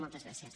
moltes gràcies